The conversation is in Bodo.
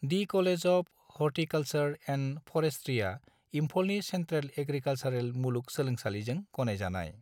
The college of horticulture and forestry इमफलनि सेनट्रेल एग्रिकालसारेल मुलुग सोलोंसालिजों गनायजानाय।